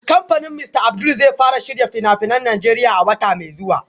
Kamfanin Mr Abdul zai fara shirya fina-finan Najeriya a wata mai zuwa